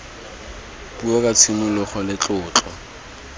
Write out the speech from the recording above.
puo ka tshisimogo le tlotlo